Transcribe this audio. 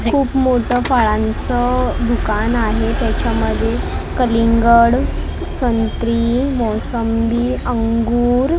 खूप मोठं फळांचं दुकान आहे त्याच्यामध्ये कलिंगड संत्री मोसंबी अंगूर--